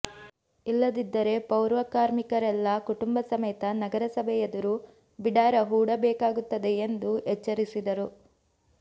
ಇಲ್ಲದಿದ್ದರೆ ಪೌರಕಾರ್ಮಿಕರೆಲ್ಲ ಕುಟುಂಬ ಸಮೇತ ನಗರಸಭೆ ಎದುರು ಬಿಡಾರ ಹೂಡಬೇಕಾಗುತ್ತದೆ ಎಂದು ಎಚ್ಚರಿಸಿದರು